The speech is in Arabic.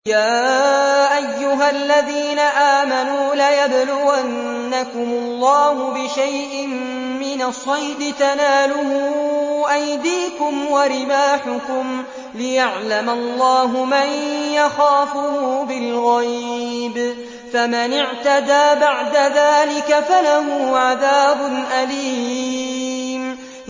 يَا أَيُّهَا الَّذِينَ آمَنُوا لَيَبْلُوَنَّكُمُ اللَّهُ بِشَيْءٍ مِّنَ الصَّيْدِ تَنَالُهُ أَيْدِيكُمْ وَرِمَاحُكُمْ لِيَعْلَمَ اللَّهُ مَن يَخَافُهُ بِالْغَيْبِ ۚ فَمَنِ اعْتَدَىٰ بَعْدَ ذَٰلِكَ فَلَهُ عَذَابٌ أَلِيمٌ